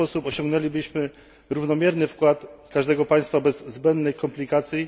W ten sposób osiągnęlibyśmy równomierny wkład każdego państwa bez zbędnych komplikacji.